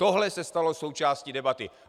Tohle se stalo součástí debaty.